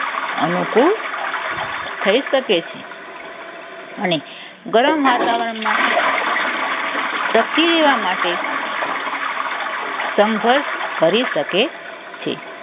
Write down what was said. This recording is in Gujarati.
અનુકૂળ થઈ શકે છે. અને ગરમ વાતાવરણમાં ટકી રહેવા માટે સંઘર્ષ કરી શકે છે.